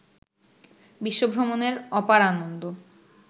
বিশ্বভ্রমণের অপার আনন্দ